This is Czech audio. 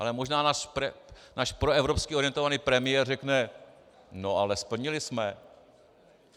Ale možná náš proevropsky orientovaný premiér řekne: No ale splnili jsme.